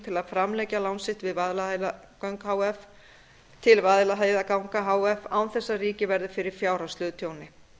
til að framlengja lán sitt til vaðlaheiðarganga h f án þess að ríkið verði fyrir fjárhagslegu tjóni